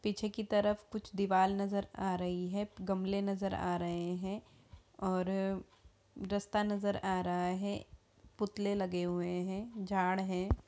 पीछे की तरफ कुछ दीवाल नजर आ रही है गमले नजर आ रहे हैं और रस्ता नजर आ रहा है पुतले लगे हुए हैं झाड़ है।